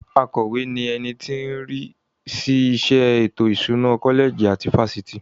Akọ̀we ni ẹni tó ń rí sí iṣẹ́ ètò ìṣúná kọ́lẹ̀jì tàbí fáfitì.